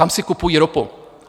Tam si kupují ropu.